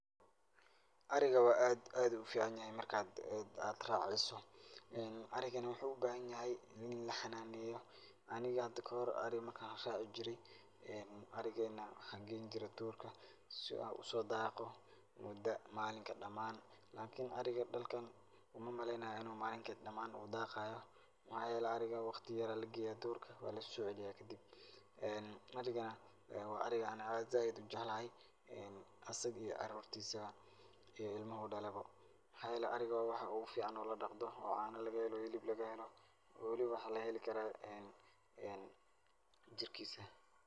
Ariga waa aad aadu u ficanyahay markad raceyso arigana waxuu u bahanyahy in laxanaaneyo aniga hada kahor ari markan raaci jiray ee arigena waxaan geyn jire duurka si uu usodaaqo muda malinka damaan lakin ariga dhulkan umamaleynayo inu malinka damaan u daaqayo maxaa yeele waqti yar aa lageya duurka waa lasoceliya kadib ee ariga waa aan zaiid u jeclahay asaga iyo carurtiisaba iyo ilmuhu dhalay bo maxaa yeele ariga waa waxa ogu fiican oo ladaqdo oo caano lagahelo hilib lagahelo oo waliba waxaa lagaheli karaa ee jirkiisa.